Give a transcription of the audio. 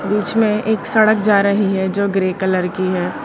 बीच में एक सड़क जा रही है जो ग्रे कलर की है।